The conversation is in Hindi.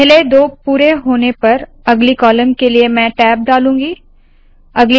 पहले दो पुरे होने पर अगली कॉलम के लिए मैं टैब डालूंगी